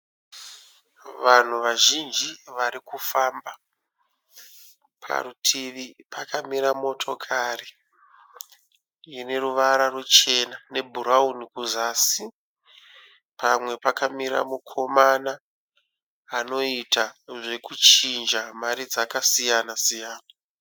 Vanhu vazhinji vari kufamba. Parutivi pakamira motokari ine ruvara ruchena nebhurauni kuzasi. Pamwe pakamira mukomana anoita zvokuchinja mari dzakasiyana siyana.